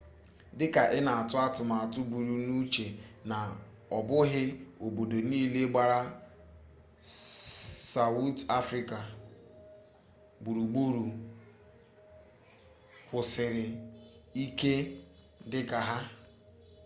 dịka ị na-atụ atụmatụ buru n'uche na ọ bụghị obodo niile gbara sawụt afrịka gburugburu kwụsiri ike dịka ha